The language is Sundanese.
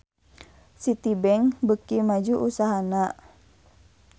Citibank beuki maju usahana